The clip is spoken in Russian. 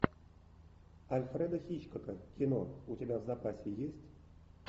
альфреда хичкока кино у тебя в запасе есть